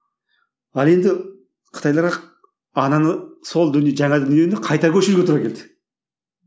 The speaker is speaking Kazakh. ал енді қытайларға ананы сол жаңа дүниені қайта көшіруге тура келді